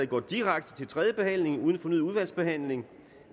går direkte til tredje behandling uden fornyet udvalgsbehandling